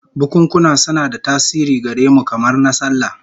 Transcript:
Bukunkuna suna da tasiri gare mu, kamar na sallah